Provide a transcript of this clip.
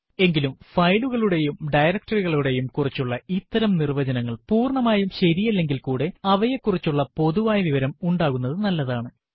എങ്കിലും ഫയലുകളെയും ഡയറക്ടറി കളെയും കുറിച്ചുള്ള ഇത്തരം നിർവ്വചനങ്ങൾ പൂർണമായും ശരിയല്ലെങ്കിൽ കൂടെ അവയെ കുറിച്ചുള്ള പൊതുവായ വിവരം ഉണ്ടാകുന്നതു നല്ലതാണ്